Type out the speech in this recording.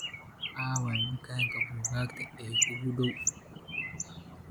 aaway dukaanka buugaagta ee kuugu dhow